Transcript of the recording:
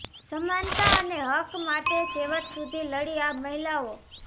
સમાનતા અને હક્ક માટે છેવટ સુધી લડી આ મહિલાઓ